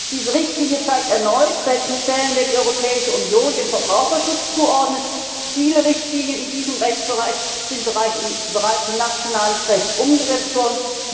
kann. Diese Richtlinie zeigt erneut, welchen Stellenwert die Europäische Union dem Verbraucherschutz zuordnet. Viele Richtlinien in diesem Rechtsbereich sind bereits in nationales Recht umgesetzt worden.